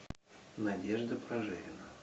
надежда прожерина